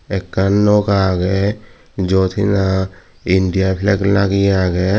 ekkan noka aage jot heni India flag lageyi aage.